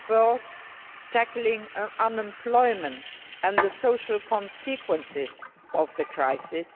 fourth, tackling unemployment and the social consequences of the crisis